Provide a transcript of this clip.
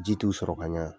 Ji t'u sɔrɔ ka ɲa